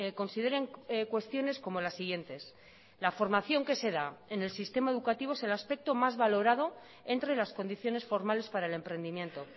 consideren cuestiones como las siguientes la formación que se da en el sistema educativo es el aspecto más valorado entre las condiciones formales para el emprendimiento